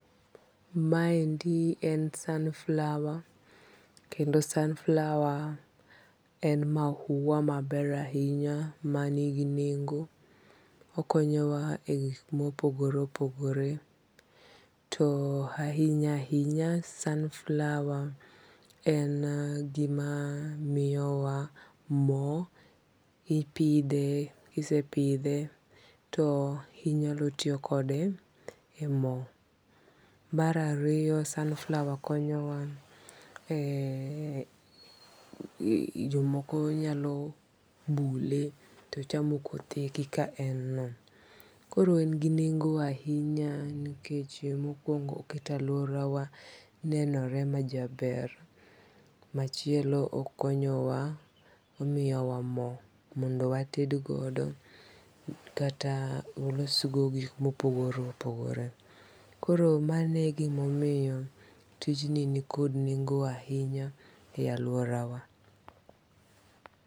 Maendi en sunflower kendo sunflower en mau maber ahinya manigi nengo' okonyowa e gik ma opogore opogore to ahinya hinya sunflower en gima miyowa mo, ipithe kisepithe to inyalo tiyokode e mo, mar ariyo sunflower konyowa e jomoko nyalo bule to chamo kothenie kaka en no, koro en gi nengo, ahinya nikech mokuongo kata e aluorawa nenore majaber, machielo okonyowa omiyowa mo mondowatedgodo kata walosgodo gik ma opogore opogore, koro mano e gima omiyo tijni nikod nengo' ahinya e aluorawa.